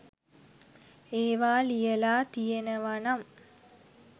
ඒවා ලියලා තියෙනවනම්